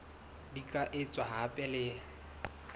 di ka etswa hape le